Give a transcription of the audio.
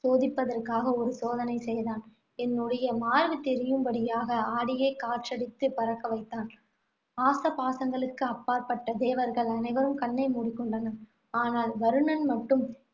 சோதிப்பதற்காக ஒரு சோதனை செய்தான். என்னுடைய மார்பு தெரியும்படியாக ஆடையை காற்றடித்து பறக்க வைத்தான். ஆசபாசங்களுக்கு அப்பாற்பட்ட தேவர்கள் அனைவரும் கண்ணை மூடிக் கொண்டனர். ஆனால், வருணன் மட்டும்